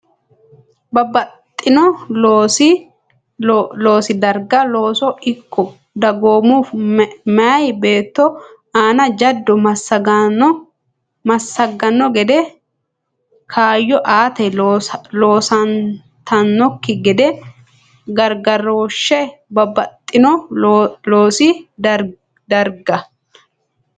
Babbaxxino loosi darga looso ikko dagoomu meya beetto aana jaddo massaganno gede kaayyo aate loosantannokki gede gargarooshshe Babbaxxino loosi darga.